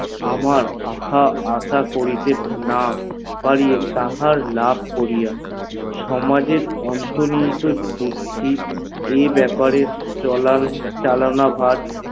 আমার আহ আশা করিতে না পরি তাহার লাভ করিয়া সমাজে অন্ত নিহিত এই বেপারে চলন করিয়া